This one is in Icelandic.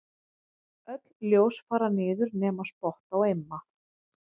Öll ljós fara niður nema spott á Imma.